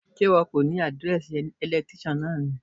Sé ìwọ kò ní àdírẹ́ẹ̀sì electrician náà ni?